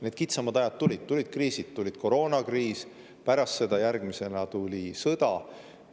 Need kitsamad ajad tulid, tulid kriisid: koroonakriis, pärast seda järgmisena tuli sõda.